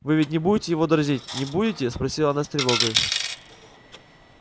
вы ведь не будете его дразнить не будете спросила она с тревогой